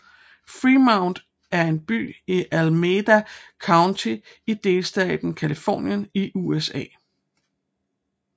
Fremont er en by i Alameda County i delstaten Californien i USA